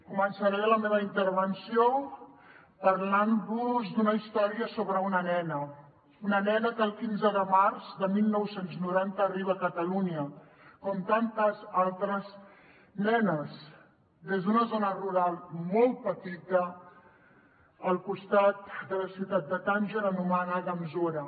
començaré la meva intervenció parlant vos d’una història sobre una nena una nena que el quinze de març de dinou noranta arriba a catalunya com tantes altres nenes des d’una zona rural molt petita al costat de la ciutat de tànger anomenada mzoura